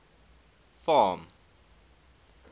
farm